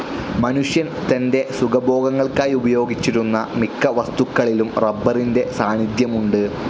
മനുഷ്യൻ തൻ്റെ സുഖഭോഗങ്ങൾക്കായുപയോഗിച്ചിരുന്ന മിക്കവസ്തുക്കളിലും റബ്ബറിൻ്റെ സാന്നിധ്യമുണ്ട്.